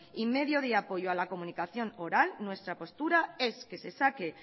y medio de apoyo a la comunicación oral nuestra postura es que se saque